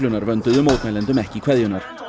vönduðu mótmælendum ekki kveðjurnar